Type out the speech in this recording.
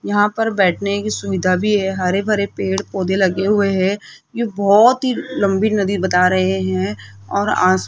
यहां पर बैठने की सुविधा भी है हरे भरे पेड़ पौधे लगे हुए हैं ये बोहोत ही लम्बी नदी बता रहें हैं और --